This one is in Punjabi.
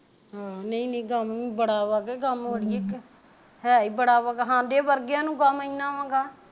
ਆ ਨਹੀ ਨਹੀ ਗਮ ਵੀ ਬੜਾ ਵਾ ਕਿ ਗਮ ਕਿ ਅੜੀਏ ਹੈ ਈ ਬੜਾ ਵਾ ਹਾਡੇ ਵਰਗਿਆਂ ਨੂੰ ਗਮ ਇੰਨਾ ਵਾ ਅਗਾਂਹ